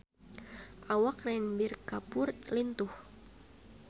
Awak Ranbir Kapoor lintuh